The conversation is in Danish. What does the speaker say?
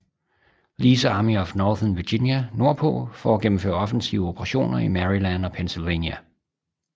Lees Army of Northern Virginia nordpå for at gennemføre offensive operationer i Maryland og Pennsylvania